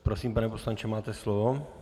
Prosím, pane poslanče, máte slovo.